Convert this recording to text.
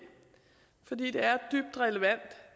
for det er dybt relevant